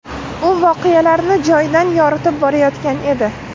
U voqealarni joyidan yoritib borayotgan edi.